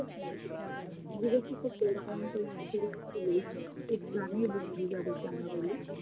খুব প্রাণের বন্ধু যাদেরকে আমরা বলি